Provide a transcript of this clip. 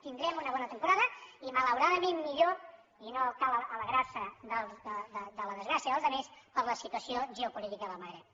tindrem una bona temporada i malauradament millor i no cal alegrar se de la desgràcia dels altres per la situació geopolítica del magrib